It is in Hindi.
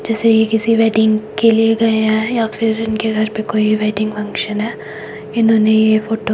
जैसे ही ये किसी वेडिंग के लिए गया है या फिर इनके घर पे कोई वेडिंग फंक्शन है इन्होंने ये फोटो --